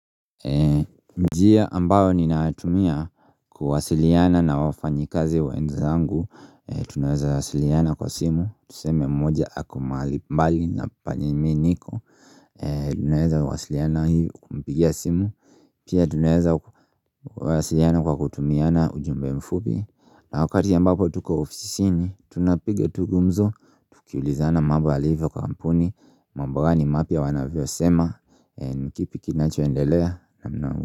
Njia ambayo ninatumia kuwasiliana na wafanyi kazi wenzangu Tunaweza wasiliana kwa simu Tuseme mmoja ako mahali mbali na penye mimi niko Tunaweza wasiliana kumpigia simu Pia tunaweza wasiliana kwa kutumiana ujumbe mfupi na wakati ambapo tuko ofisini tunapiga tu gumzo Kiulizana mambo yalivyo kampuni mambo ni mapya wanavyosema eeh kipi kinacho endelea.